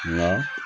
Wa